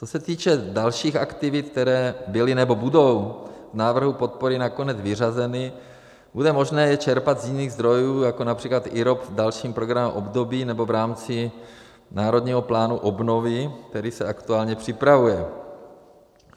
Co se týče dalších aktivit, které byly nebo budou z návrhu podpory nakonec vyřazeny, bude možné je čerpat z jiných zdrojů, jako například IROP v dalším programovém období nebo v rámci národního plánu obnovy, který se aktuálně připravuje.